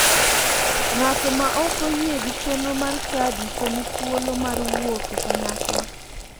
Ng'ato ma ok oyie gi chenro mar chadi to ni thuolo mar wuok e kanyakla.